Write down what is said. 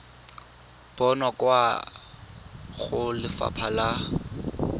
bonwa kwa go lefapha la